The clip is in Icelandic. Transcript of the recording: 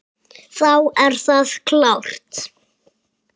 Þá er það klárt.